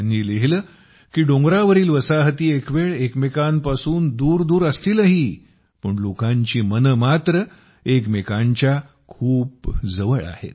त्यांनी लिहिले की डोंगरावरील वसाहती एकवेळ एकमेकांपासून दूर दूर असतीलही पण लोकांची मने मात्र एकमेकांच्या खूप जवळ आहेत